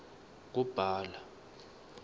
kubhala